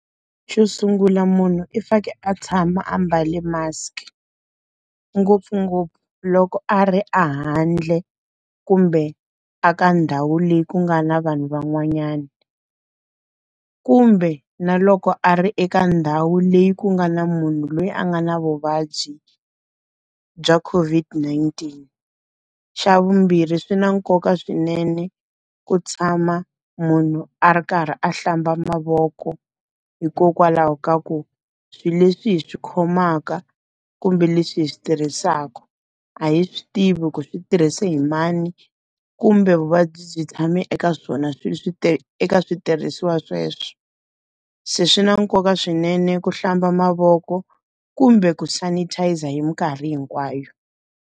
Xo sungula munhu i fanekele a tshama a mbale mask. Ngopfungopfu loko a ri a handle, kumbe a ka ndhawu leyi ku nga na vanhu van'wanyana. Kumbe na loko a ri eka ndhawu leyi ku nga na munhu loyi a nga na vuvabyi bya COVID-19. Xa vumbirhi swi na nkoka swinene ku tshama munhu a ri karhi a hlamba mavoko hikokwalaho ka ku, swilo leswi hi swi khomaka kumbe leswi hi swi tirhisaka, a hi swi tivi ku swi tirhise hi mani, kumbe vuvabyi tshame hambi eka swona eka switirhisiwa sweswo. Se swi na nkoka swinene ku hlamba mavoko, kumbe ku sanitizer hi minkarhi hinkwayo.